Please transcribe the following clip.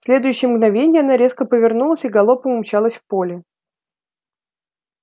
в следующее мгновенье она резко повернулась и галопом умчалась в поле